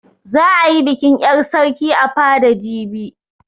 Za a yi bikin 'yar sarki a fada jibi.